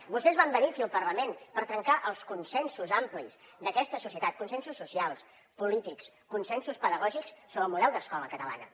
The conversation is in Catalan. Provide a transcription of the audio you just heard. vostès van venir aquí al parlament per trencar els consensos amplis d’aquesta societat consensos socials polítics consensos pedagògics sobre el model d’escola catalana